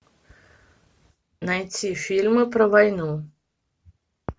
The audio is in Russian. найти фильмы про войну